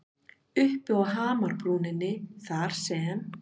Uppi á hamrabrúninni þar sem